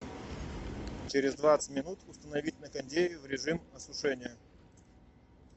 через двадцать минут установить на кондее в режим осушения